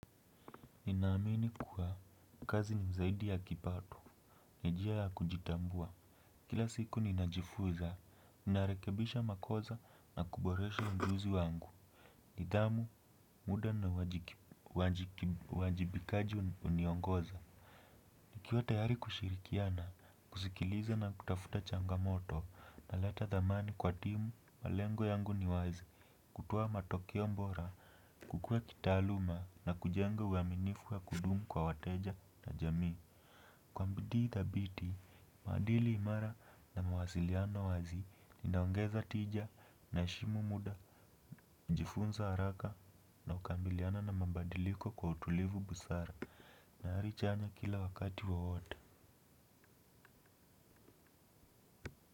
Ninaamini kuwa kazi ni mzaidi ya kipato, ni njia ya kujitambua. Kila siku ninajifuza, narekebisha makosa na kuboresha mjuzi wangu. Nidhamu, muda na wajibikaji uniongoza. Nikiwa tayari kushirikiana, kusikiliza na kutafuta changamoto, naleta dhamani kwa timu, malengo yangu niwazi. Kutowa matokeo mbora, kukue kitaaluma na kujenga uaminifu wa kudumu kwa wateja na jamii. Kwa bidii thabiti, maadili imara na mawasiliano wazi inaongeza tija inaheshimu muda kujifunza haraka na kukabiliana na mabadiliko kwa utulivu busara. Na ari chanya kila wakati wowote.